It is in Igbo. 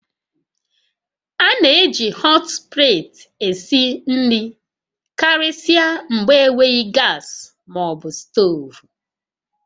A na-eji họt pleeti esi nri karịsịa mgbe enweghị gas ma ọ bụ stovu